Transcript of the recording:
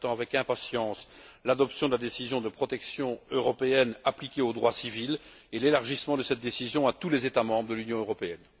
J'attends avec impatience l'adoption de la décision de protection européenne appliquée au droit civil et l'élargissement de cette décision à tous les États membres de l'Union européenne.